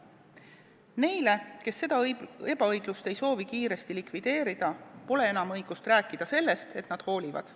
Neil, kes ei soovi seda ebaõiglust kiiresti likvideerida, pole enam õigust rääkida sellest, et nad hoolivad.